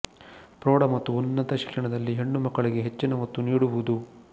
ಫ್ರೌಡ ಮತ್ತು ಉನ್ನತ ಶಿಕ್ಷಣದಲ್ಲಿ ಹೆಣ್ಣು ಮಕ್ಕಳಿಗೆ ಹೆಚ್ಚಿನ ಒತ್ತು ನೀಡುವುದು